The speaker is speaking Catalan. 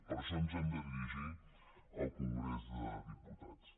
per això ens hem de dirigir al congrés dels diputats